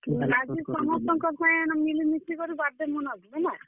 ରାତି ସମସ୍ତଙ୍କର ସାଙ୍ଗେ ହେନ ମିଲିମିଶି କରି birthday ମନାବୁ ହେଲା।